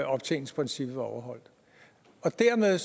optjeningsprincippet var overholdt og dermed